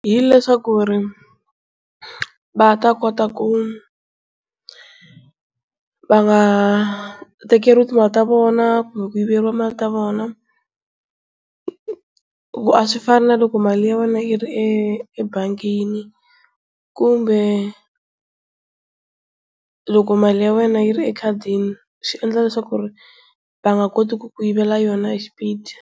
Hi leswaku va ta kota ku va nga tekeriwi timali ta vona kumbe ku yiveriwa timali ta vona, hikuva a swi fana na loko mali ya wena yi ri ebangini kumbe loko mali ya wena yi ri ekhadini swi endla leswaku ri va nga koti ku ku yivela yona hi xipidi.